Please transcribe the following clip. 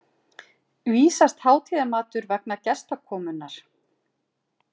vísast hátíðarmatur vegna gestakomunnar.